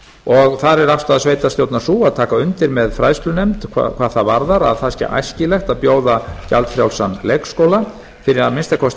og þar er afstaða sveitarstjórnar sú að taka undir með fræðslunefnd hvað það varðar að það sé æskilegt bjóða gjaldfrjálsan leikskóla fyrir að minnsta kosti